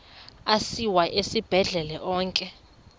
asiwa esibhedlele onke